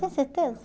Tem certeza?